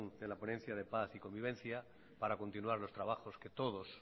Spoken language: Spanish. de la ponencia de paz y convivencia para continuar los trabajos que todos